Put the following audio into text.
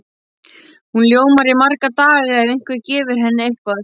Hún ljómar í marga daga ef einhver gefur henni eitthvað.